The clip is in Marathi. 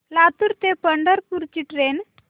लातूर ते पंढरपूर ची ट्रेन